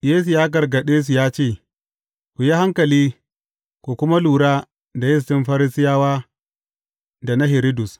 Yesu ya gargaɗe su ya ce, Ku yi hankali, ku kuma lura da yistin Farisiyawa da na Hiridus.